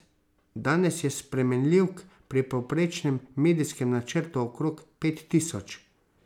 Danes je spremenljivk pri povprečnem medijskem načrtu okrog pet tisoč.